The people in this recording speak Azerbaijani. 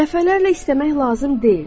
Dəfələrlə istəmək lazım deyil.